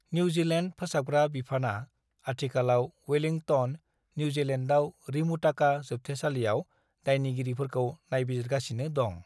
"New Zealand फोसाबग्रा बिफानआ आथिखालाव वेलिंगटन, न्यूजीलैण्डआव रिमुताका जोबथेसालियाव दायनिगिरिफोरखौ नायबिजिरगासिनो दं।"